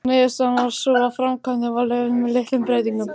Niðurstaðan varð sú að framkvæmdin var leyfð með litlum breytingum.